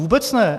Vůbec ne.